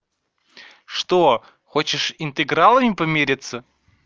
что хочешь интегралами помириться